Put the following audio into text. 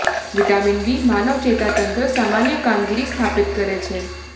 vitamin B માનવ ચેતાતંત્ર સામાન્ય કામગીરી સ્થાપિત કરે છે